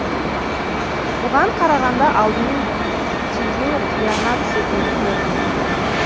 бұған қарағанда алдымен тию қиянат секілді көрінеді